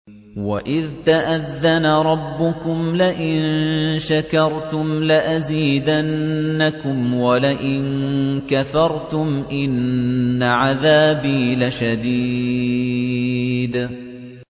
وَإِذْ تَأَذَّنَ رَبُّكُمْ لَئِن شَكَرْتُمْ لَأَزِيدَنَّكُمْ ۖ وَلَئِن كَفَرْتُمْ إِنَّ عَذَابِي لَشَدِيدٌ